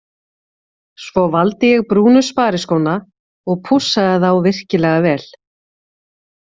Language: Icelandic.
Svo ég valdi brúnu spariskóna og pússaði þá virkilega vel.